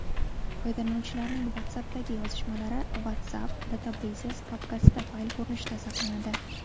Foydalanuvchilarning WhatsApp’dagi yozishmalari /WhatsApp/Databases papkasida fayl ko‘rinishida saqlanadi.